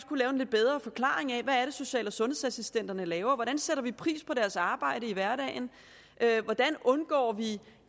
kunne lave en lidt bedre forklaring af hvad social og sundhedsassistenterne laver hvordan sætter vi pris på deres arbejde i hverdagen hvordan undgår vi